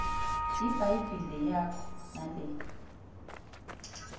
ibhayibhile yakho nale